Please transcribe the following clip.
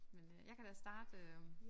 Men øh jeg kan da starte øh